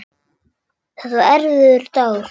Þetta var erfiður dagur.